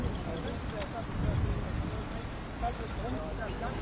Yəni taksidə artıq zadı, yəni burda gəlib tapa bilərsiniz.